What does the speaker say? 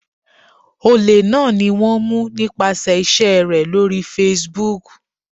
Olè náà ni wón mú nípasẹ̀ ìṣe rè lórí Facebook.